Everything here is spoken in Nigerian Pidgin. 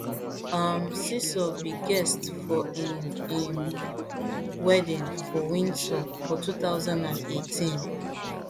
um seeiso be guest for im im wedding for windsor for two thousand and eighteen